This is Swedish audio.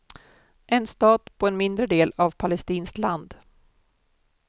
En stat på en mindre del av palestinskt land.